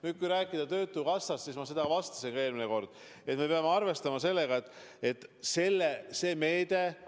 Nüüd, kui rääkida töötukassast, siis ma vastasin ka eelmine kord, et me peame arvestama sellega, et see meede on kallis.